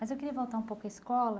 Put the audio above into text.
Mas eu queria voltar um pouco à escola.